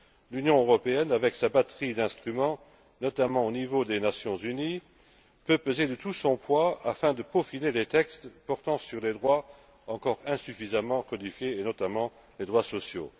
L'Union européenne avec sa batterie d'instruments, notamment au niveau des Nations unies, peut peser de tout son poids afin de peaufiner des textes portant sur les droits encore insuffisamment codifiés et notamment les droits sociaux.